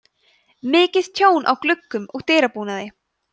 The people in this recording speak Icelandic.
mikið tjón á gluggum og dyrabúnaði